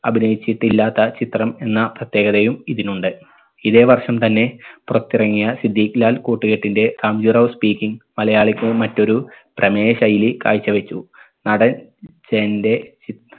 അഭിനയിച്ചിട്ടില്ലാത്ത ചിത്രം എന്ന പ്രത്യേകതയും ഇതിനുണ്ട് ഇതേവർഷം തന്നെ പുറത്തിറങ്ങിയ സിദ്ദീഖ് ലാൽ കൂട്ടുകെട്ടിന്റെ റാംജിറാവു speaking മലയാളിക്ക് മറ്റൊരു പ്രമേയ ശൈലി കാഴ്ച വച്ചു നടൻ ജയന്റെ ചിത്